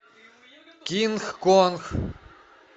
кинг конг